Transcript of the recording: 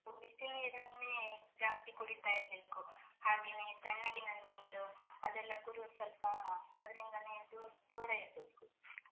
ಬಿಸಿ ನೀರನ್ನೇ ಜಾಸ್ತಿ ಕುಡೀತಾ ಇರ್ಬೇಕು. ಹಾಗೇನೇ ತಣ್ಣಗಿನ ನೀರು, ಅದೆಲ್ಲ ಕುಡಿಯುದ್ ಸ್ವಲ್ಪ ಅದ್ರಿಂದಾನೇ ದೂರ್ ದೂರ ಇರ್ಬೇಕು.